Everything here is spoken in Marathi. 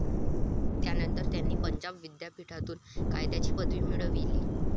त्यानंतर त्यांनी पंजाब विद्यापीठातून कायद्याची पदवी मिळविली.